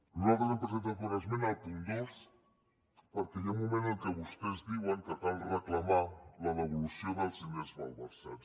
nosaltres hem presentat una esmena al punt dos perquè hi ha un moment en el que vostès diuen que cal reclamar la devolució dels diners malversats